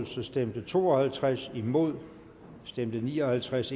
stemte to og halvtreds imod stemte ni og halvtreds